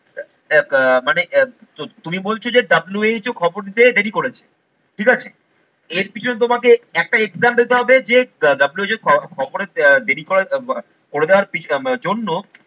আহ মানে তুমি বলছো যে WHO খবর নিতে দেরি করেছে ঠিক আছে এর পিছনে তোমাকে একটা example দিতে হবে যে WHO যে খবরে দেরি করে দেওয়ার জন্য